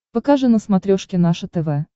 покажи на смотрешке наше тв